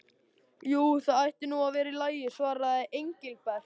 Jú, það ætti nú að vera í lagi svaraði Engilbert.